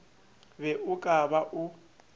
be o ka ba o